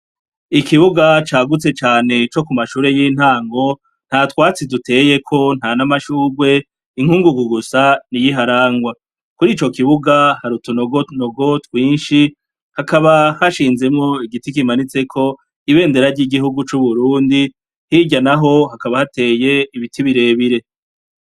Ikibuga cagutse cane co ku mashure y'intango, nta twatsi duteyeko, nta n'amashurwe, inkungugu gusa niyo iharangwa. Kurico kibuga hari utunogonogo twinshi hakaba hashinzemwo igiti kimanitseko ibendera ry'igihugu c'Uburundi, hirya naho hakaba hateye ibiti birebire.